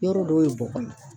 Yɔrɔ dɔw ye bɔgɔ ye